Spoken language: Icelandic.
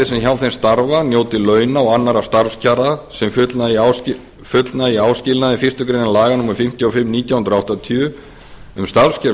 sem hjá því starfa njóti launa og annarra starfskjara sem fullnægja áskilnaði fyrstu grein laga númer fimmtíu og fimm nítján hundruð áttatíu um starfskjör